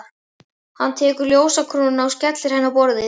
Hann tekur ljósakrónuna og skellir henni á borðið.